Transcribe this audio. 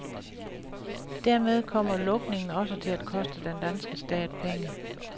Dermed kommer lukningen også til at koste den danske stat penge.